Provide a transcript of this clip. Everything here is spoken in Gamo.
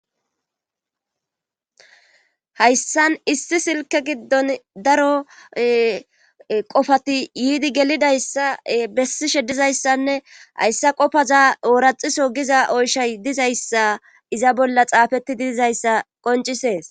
hayssan issi silke giddon daro qofati yiidi gelidayssa bessishe dizayssanne hayssa qopaza ooraxiso giza oyshay dizayssa iza bolla xaafetti diizayssa qoncisees